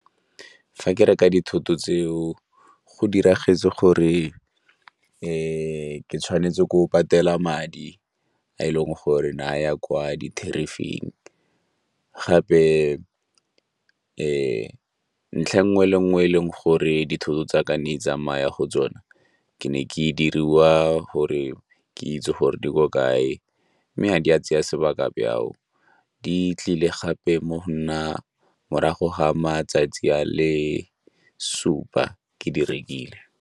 Fa ke reka dithoto tseo, go diragetse gore ke tshwanetse ke go patela madi a e leng gore naya kwa di-terrif-ing gape ntlha e nngwe le nngwe e leng gore dithoto tsa ka ne di tsamaya go tsona ke ne ke diriwa gore ke itse gore di ko kae mme ga di a tsaya sebaka byao, di tlile gape mo go nna morago ga matsatsi a le supa ke di rekile.